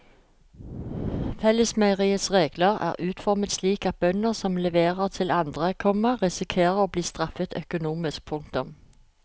Fellesmeieriets regler er utformet slik at bønder som leverer til andre, komma risikerer å bli straffet økonomisk. punktum